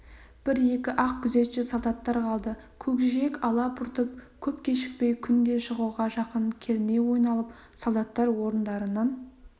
бір-екі-ақ күзетші солдаттар қалды көкжиек ала-бұртып көп кешікпей күн де шығуға жақын керней ойналып солдаттар орындарынан